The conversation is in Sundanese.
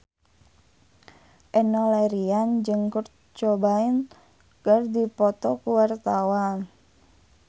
Enno Lerian jeung Kurt Cobain keur dipoto ku wartawan